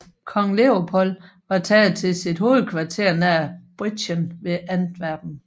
Kong Leopold var taget til sit hovedkvarter nær Briedgen ved Antwerpen